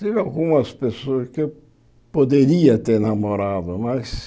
Tive algumas pessoas que eu poderia ter namorado, mas...